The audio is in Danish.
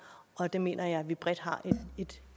og det mener jeg vi bredt har et